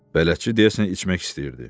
Bələdçi deyəsən içmək istəyirdi.